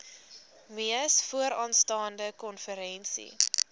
mees vooraanstaande konferensie